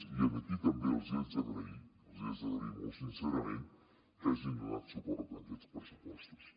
i aquí també els hi haig d’agrair els hi haig d’agrair molt sincerament que hagin donat suport a aquests pressupostos